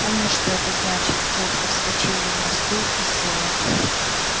помня что это значит тётка вскочила на стул и села